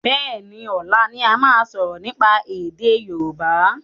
Béení, ọlá ni a máa sọ̀rọ̀ nípa èdè Yorùbá